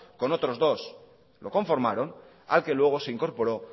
con otros dos lo conformaron al que luego se incorporó